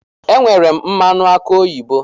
Enwere m mmanụ aki oyibo